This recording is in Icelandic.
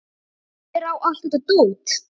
Hver á allt þetta dót?